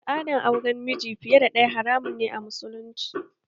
Al'adar auren miji fiye da ɗaya haramun ne a musulunci